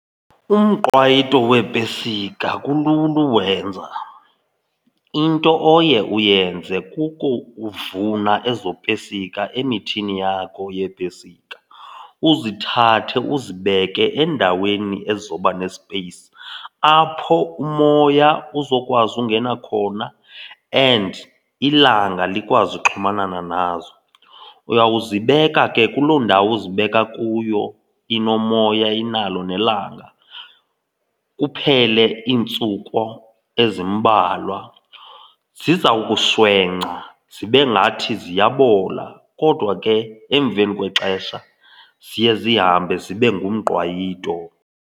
Umqwayito weepesika kulula uwenza. Into oye uyenze kukuvuna ezo pesika emithini yakho yeepestiki, uzithathe uzibeke endaweni ezoba nespeyisi apho umoya uzokwazi ungena khona and ilanga likwazi uxhumanana nazo. Uyawuzibeka ke kuloo ndawo uzibeka kuyo inomoya inalo nelanga kuphele iintsuku ezimbalwa. Ziza kuswengca zibe ngathi ziyabola kodwa ke emveni kwexesha ziye zihambe zibe ngumqwayito.